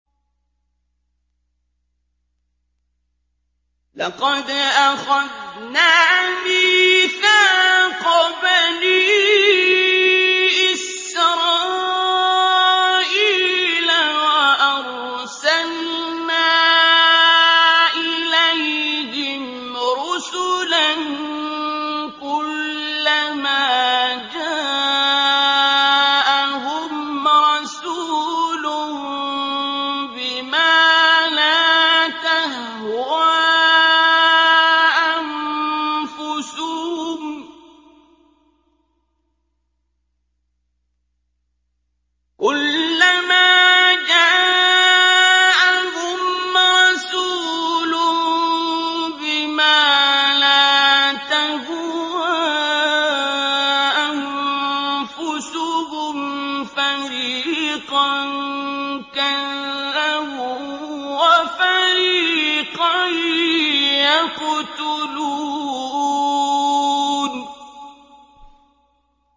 لَقَدْ أَخَذْنَا مِيثَاقَ بَنِي إِسْرَائِيلَ وَأَرْسَلْنَا إِلَيْهِمْ رُسُلًا ۖ كُلَّمَا جَاءَهُمْ رَسُولٌ بِمَا لَا تَهْوَىٰ أَنفُسُهُمْ فَرِيقًا كَذَّبُوا وَفَرِيقًا يَقْتُلُونَ